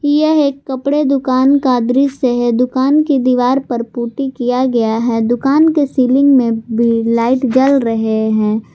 यह एक कपड़े दुकान का दृश्य है दुकान की दीवार पर पुट्टी किया गया है दुकान के सीलिंग में भी लाइट जल रहे हैं।